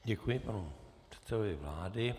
Děkuji panu předsedovi vlády.